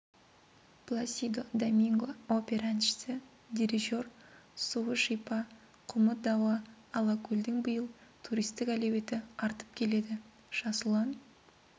пласидо доминго опера әншісі дирижер суы шипа құмы дауа алакөлдің биыл туристік әлеуеті артып келеді жасұлан